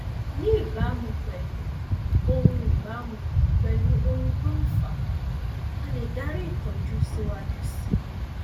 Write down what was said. ní ìbámu pẹlú ohun ìbámu pẹlú ohun tó fà á a lè darí ìtọjú síwájú síi